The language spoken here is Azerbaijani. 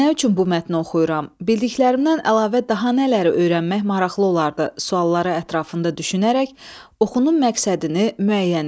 Nə üçün bu mətni oxuyuram, bildiklərimdən əlavə daha nələri öyrənmək maraqlı olardı sualları ətrafında düşünərək oxunun məqsədini müəyyən et.